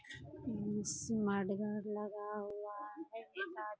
उम्म्म smart guard लगा हुआ है।